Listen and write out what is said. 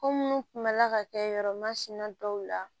Ko minnu tun bɛla ka kɛ yɔrɔ masina dɔw la